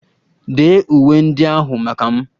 Dee uwe ndị ahụ maka m!